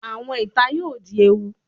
Awọn ita yoo di ewu